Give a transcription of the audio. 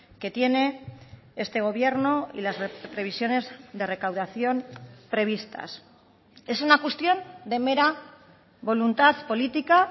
que tiene este gobierno y las previsiones de recaudación previstas es una cuestión de mera voluntad política